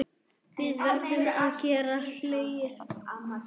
Við verðum að geta hlegið.